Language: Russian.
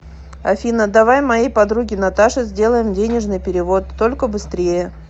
афина давай моей подруге наташе сделаем денежный перевод только быстрее